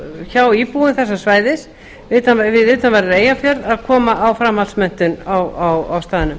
hjá íbúum þessa svæðis við utanverðan eyjafjörð að koma á framhaldsmenntun á staðnum